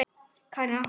Karen: Af hverju?